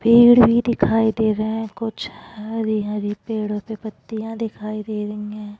पेड़ भी दिखाई दे रहे है कुछ हरी हरी पेड़ो पे पत्तियाँ दिखाई दे रही है।